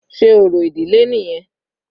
Sé orò ìdílé nìyẹn?